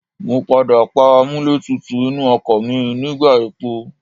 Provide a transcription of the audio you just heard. Mo padà pa amúlẹ̀tútù inú ọkọ̀ mi nígbà epo.